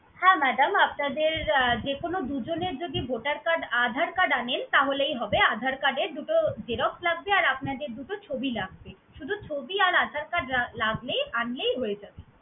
হ্যাঁ madam আপনাদের আহ যে কোনো দুই জনের যদি voter card, aadhar card আনেন, তাহলেই হবে। Aadhar card এর দুটো xerox লাগবে, আর আপনাদের দুটো ছবি লাগবে। শুধু ছবি আর aadhar card লাগবে, আনলেই হয়ে যাবে।